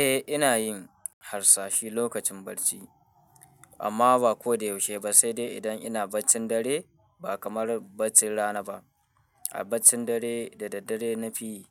Eh, ina yin harsashi lokacin bacci, amma ba ko da yaushe ba, sai dai idan ina baccin dare ba kamar baccin rana ba. A baccin dare da daddare na fi,